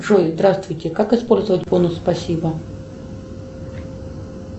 джой здравствуйте как использовать бонус спасибо